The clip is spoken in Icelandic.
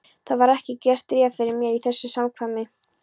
Það var ekki gert ráð fyrir mér í þessu samkvæmi.